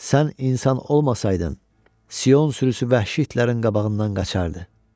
Sən insan olmasaydın, Sion sürüsü vəhşi itlərin qabağından qaça bilməzdin.